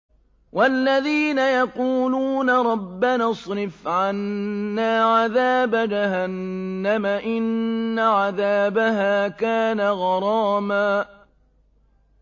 وَالَّذِينَ يَقُولُونَ رَبَّنَا اصْرِفْ عَنَّا عَذَابَ جَهَنَّمَ ۖ إِنَّ عَذَابَهَا كَانَ غَرَامًا